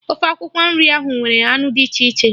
Ofe akwụkwọ nri ahụ nwere anụ dị iche iche